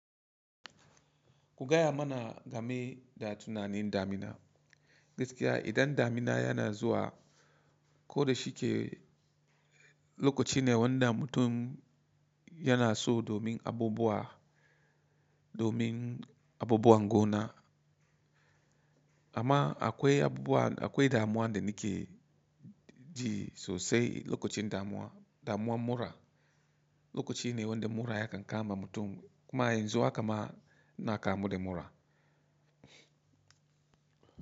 Ku gaya mana game da tunanin damina. Gaskiya idan damina yana zuwa, ko da shike lokaci ne wan da mmutum yana so domin abubuwa, domin abubuwan goma. Amma akwai abubuwa, akwai damuwa da nike ji sosai lokacin damuwa, damuwa mura. Lokaci ne wanda mura ya kan kaama mutum, kuma yanzu haka ma ina kamu da mura.